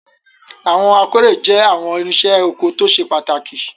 Awọn akore jẹ awọn irinse oko to sepataki